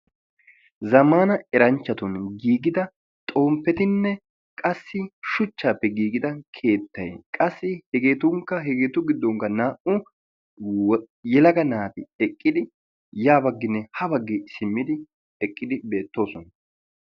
zammaana eranchchatun giigida xomppetinne qassi shuchchaappe giigida keettay hegeetunkka hegeetu giddonkka naa"u yelaga naati ya bagginne ha baggi simmidi eqqidi beettoosona.